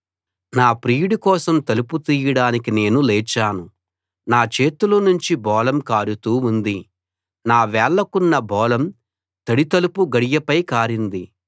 నా ప్రియుడి కోసం తలుపు తీయడానికి నేను లేచాను నా చేతుల నుంచి బోళం కారుతూ ఉంది నా వేళ్ళకున్న బోళం తడి తలుపు గడియపై కారింది